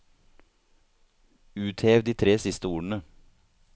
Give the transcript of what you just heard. Uthev de tre siste ordene